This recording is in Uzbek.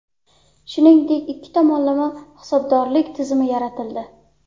Shuningdek, ikki tomonlama hisobdorlik tizimi yaratildi.